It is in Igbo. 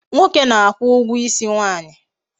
Nwoke na-akwu ugwo isi nwaanyi